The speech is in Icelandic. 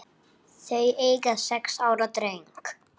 Þau eiga sex ára dreng